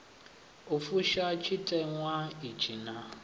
u fusha tshiteṅwa itshi naa